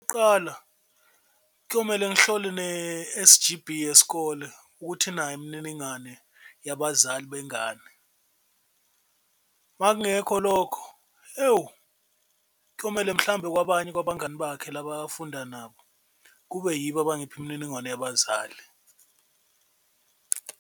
Kuqala kuyomele ngihlole ne-S_G_B yesikole ukuthi inayo imininingwane yabazali bengane, makungekho lokho ewu kuyomele mhlawumbe kwabanye kwabangani bakhe laba afunda nabo kube yibo abangipha imininingwane yabazali.